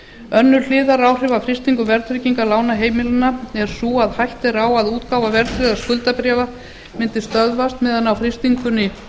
önnur hliðaráhrif af frystingu verðtryggingar lána heimilanna er hætta á að útgáfa verðtryggðra skuldabréfa mundi stöðvast á meðan á frystingunni